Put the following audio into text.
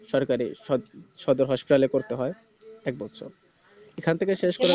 সরকারি সদ~ সদর Hospital এ করতে হয় এক বছর এখান থেকে শেষ করে